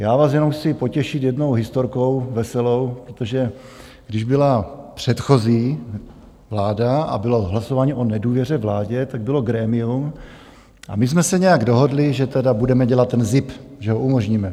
Já vás jenom chci potěšit jednou historkou veselou, protože když byla předchozí vláda a bylo hlasování o nedůvěře vládě, tak bylo grémium a my jsme se nějak dohodli, že tedy budeme dělat ten zip, že ho umožníme.